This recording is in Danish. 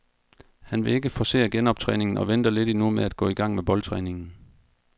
Han vil ikke forcere genoptræningen og venter lidt endnu med at gå i gang med boldtræningen.